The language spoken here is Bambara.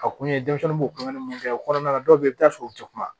Ka kun ye denmisɛnninw b'o kunkan mun kɛ o kɔnɔna la dɔw bɛ i bɛ taa sɔrɔ u tɛ kuma